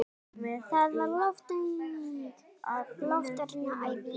Það var loftvarnaæfing!